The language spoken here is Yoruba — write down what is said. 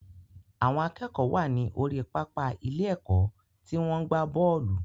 Àwọn akẹ́kọ̀ọ́ wà ní orí pápá ilé ẹ̀kọ́ tí wọ́n ń gbá bọ́ọ̀lù